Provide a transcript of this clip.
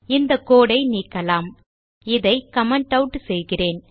இந்த கோடு ஐ நீக்கலாம் இதை கமெண்ட் ஆட் செய்கிறேன்